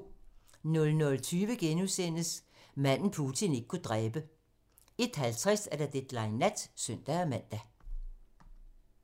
00:20: Manden, Putin ikke kunne dræbe * 01:50: Deadline nat (søn-man)